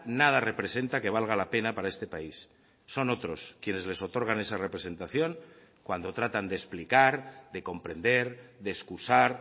nada representa que valga la pena para este país son otros quienes les otorgan esa representación cuando tratan de explicar de comprender de excusar